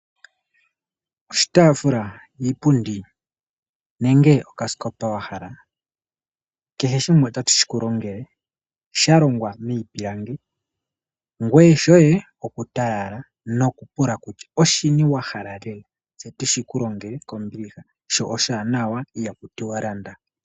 Oshitaafula, iipundi, nenge okasikopa wahala? Kehe shimwe otatu shiku longele, sha longwa miipilangi, ngoye shoye okutala owala, nokupula kutya oshini wahala lela, tse tushiku longele kombiliha. Sho oshiwanawa ihaku tiwa landa.